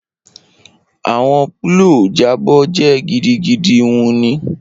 Awọn pllows jabọ jẹ gidigidi wuni